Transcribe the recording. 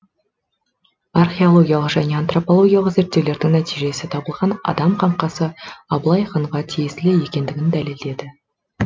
археологиялық және антропологиялық зертеулердін нәтижесі табылған адам қанқасы абылай ханға тиесілі екендігін дәлелдеді